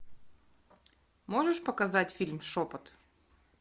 можешь показать фильм шепот